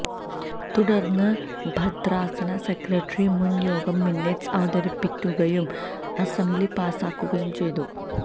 തുടര്ന്ന് ഭദ്രാസന സെക്രട്ടറി മുന് യോഗ മിനിറ്റ്സ് അവതരിപ്പിക്കുകയും അസംബ്ലി പാസാക്കുകയും ചെയ്തു